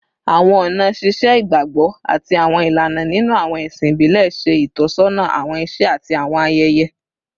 Awọn ọna ṣiṣe igbagbọ ati awọn ilana ninu awọn ẹsin ibile ṣe itọsọna awọn iṣe ati awọn ayẹyẹ